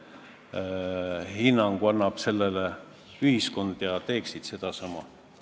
Minu meelest oli Heidy Purga küsimus suunatud Ilmar Tomuskile, aga võimalik, et hoopis mulle, ja Laine Randjärve küsimus ehk suunatud pigem Tomuskile kui mulle.